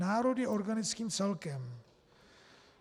Národ je organickým celkem.